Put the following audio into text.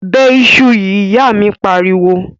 Bẹ iṣu yìí!, ìyá míì pariwo.